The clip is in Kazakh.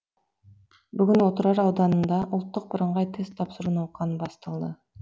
бүгін отырар ауданында ұлттық бірыңғай тест тапсыру науқаны басталды